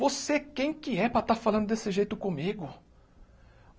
Você quem que é para estar falando desse jeito comigo?